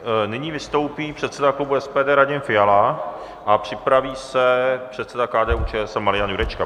Nyní vystoupí předseda klubu SPD Radim Fiala a připraví se předseda KDU-ČSL Marian Jurečka.